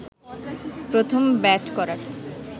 প্রথম ব্যাট করার